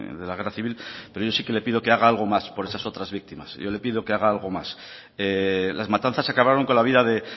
de la guerra civil pero yo sí que le pido que haga algo más por esas otras víctimas yo le pido que haga algo más las matanzas acabaron con la vida de